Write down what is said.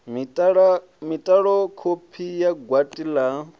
mitalo kopi ya gwati la